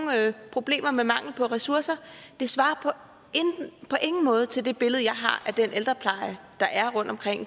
problemer med mangel på ressourcer det svarer på ingen måde til det billede jeg har af den ældrepleje der er rundtomkring